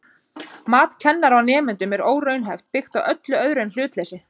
Mat kennara á nemendum er óraunhæft, byggt á öllu öðru en hlutleysi.